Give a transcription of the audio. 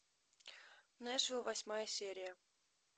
нэшвилл восьмая серия